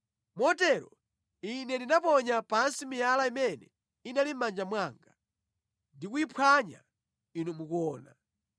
Motero ine ndinaponya pansi miyala imene inali mʼmanja mwanga, ndi kuyiphwanya inu mukuona.